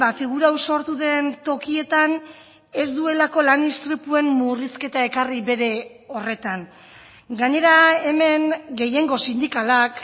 figura hau sortu den tokietan ez duelako lan istripuen murrizketa ekarri bere horretan gainera hemen gehiengo sindikalak